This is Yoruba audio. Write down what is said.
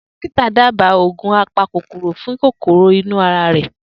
Dokita dábàá oògùn apa kòkòrò fún kòkòrò ínu ara rẹ̀